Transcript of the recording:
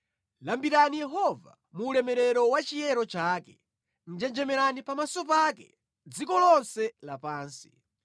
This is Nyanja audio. Lambirani Yehova mu ulemerero wa chiyero chake; njenjemerani pamaso pake, dziko lonse lapansi.